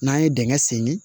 N'an ye dingɛ senni